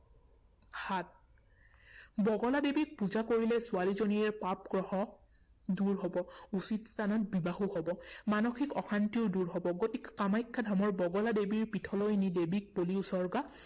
সাত, বগলা দেৱীক পূজা কৰিলে ছোৱালীজনীৰ পাপ গ্ৰহ দূৰ হব, উচিত স্থানত বিবাহো হব, মানসিক অশান্তিও দূৰ হব। গতিকে কামাখ্যা ধামৰ বগলা দেৱীৰ পীঠলৈ নি দেৱীক বলি উৎসৰ্গা